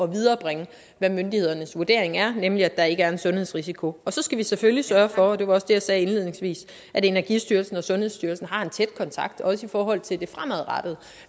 viderebringe hvad myndighedernes vurdering er nemlig at der ikke er en sundhedsrisiko så skal vi selvfølgelig sørge for og det var også det jeg sagde indledningsvis at energistyrelsen og sundhedsstyrelsen har en tæt kontakt også i forhold til det fremadrettede